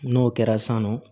N'o kɛra san nɔ